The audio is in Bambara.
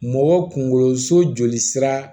Mɔgɔ kunkolo so joli sira